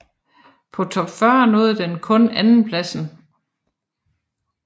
På Top 40 nåede den kun andenpladsen